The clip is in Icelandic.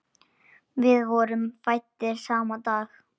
Við vorum fæddir sama dag.